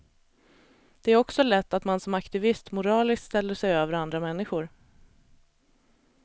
Det är också lätt att man som aktivist moraliskt ställer sig över andra människor.